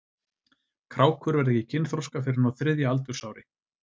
Krákur verða ekki kynþroska fyrr en á þriðja aldursári.